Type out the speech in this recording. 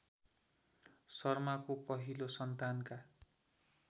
शर्माको पहिलो सन्तानका